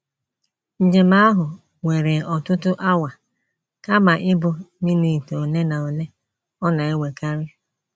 Njem ahụ were ọtụtụ awa kama ịbụ minit ole na ole ọ na - ewekarị.